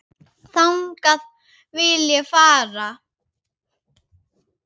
Þangað vil ég fara.